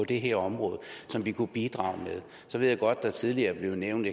det her område som vi kunne bidrage med så ved jeg godt at tidligere blev nævnt